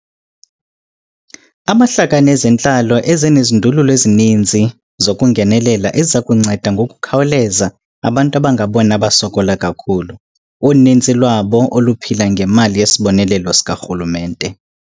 Amahlakani ezentlalo eze nezindululo ezininzi zokungenelela eziza kunceda ngokukhawuleza abantu abangabona basokola kakhulu, uninzi lwabo oluphila ngemali yesibonelelo sikarhulumente.